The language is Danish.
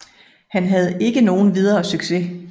Han havde ikke nogen videre succes